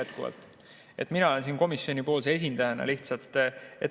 Mina olen siin lihtsalt komisjoni esindajana.